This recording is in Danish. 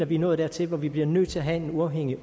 vi er nået dertil hvor vi bliver nødt til at have en uafhængig